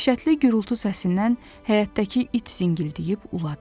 Dəhşətli gurultu səsindən həyətdəki it zingildəyib uladı.